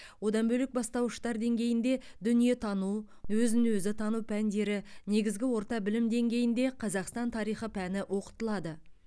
одан бөлек бастауыштар деңгейінде дүниетану өзін өзі тану пәндері негізгі орта білім деңгейінде қазақстан тарихы пәні оқытылады